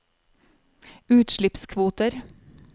utslippskvoter